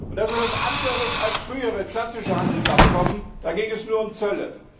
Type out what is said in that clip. Das ist etwas anderes als frühere klassische Handelsabkommen, da ging es nur um Zölle.